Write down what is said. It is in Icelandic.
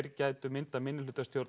getur myndað meirihlutastjórn